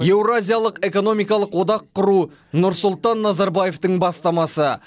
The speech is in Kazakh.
еуроазиялық экономикалық одақ құру нұрсұлтан назарбаевтың бастамасы